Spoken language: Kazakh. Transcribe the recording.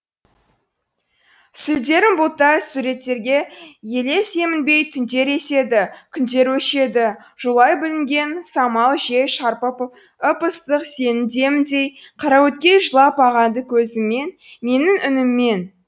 сүлдерім бұлтта сүгіреттерге елес емінбей түндер еседі күндер өшеді жолай бүлінген самал жел шарпып ып ыстық сенің деміңдей қараөткел жылап ағады көзіммен менің үніммен